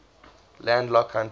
landlocked countries